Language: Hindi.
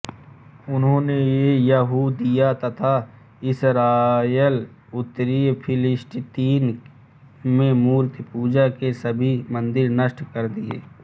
उन्होंने यहूदिया तथा इसराएल उत्तरी फिलिस्तीन में मूर्तिपूजा के सभी मंदिर नष्ट कर दिए